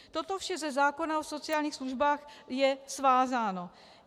Toto vše ze zákona o sociálních službách je svázáno.